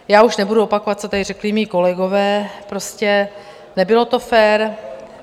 Já už nebudu opakovat, co tady řekli mí kolegové, prostě nebylo to fér.